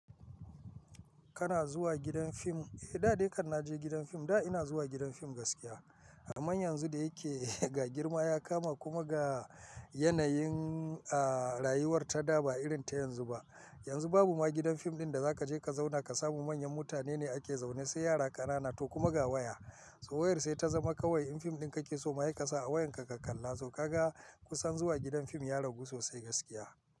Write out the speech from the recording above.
Kana zuwa gidan fim? Eh, da dai kan na je gidan fim. Da ina zuwa gidan fim gaskiya. Amma yanzu da yake ga girma ya kama kuma ga yanayin, a, rayuwar ta da ba irin ta yanzu ba. Yanzu babu ma gidan fim ɗin da zaka je ka zauna ka samu manyan mutane ne ake zaune, sai yara ƙanana to kuma ga waya. So wayar sai ta zama kawai in fim ɗin kake so maye ka sa a wayan ka ka kalla. Zo ka ga kusan zuwa gidan fim ya ragu sosai gaskiya.